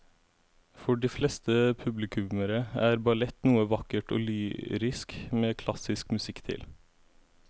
For de fleste publikummere er ballett noe vakkert og lyrisk med klassisk musikk til.